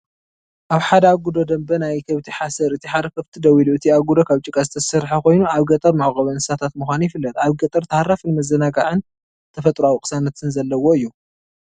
ኣብ ሓደ ኣጉዶ ደንበ ናይ ከብቲ ሓሰር ፣ እቲ ሓደ ኸፍቲ ደው ኢሉ፡ እቲ ኣጉዶ ካብ ጭቃ ዝተሰርሐ ኮይኑ ኣብ ገጠር መዕቆቢ እንስሳታት ምዃኑ ይፍለጥ። ኣብ ገጠር ተሃራፍን ምዝንጋዕን ተፈጥሮኣዊ ቅሳነትን ዘለዎ እዩ።